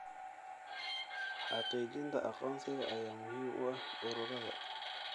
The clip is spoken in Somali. Xaqiijinta aqoonsiga ayaa muhiim u ah ururada.